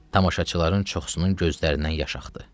Tamaşaçıların çoxunun gözlərindən yaş axdı.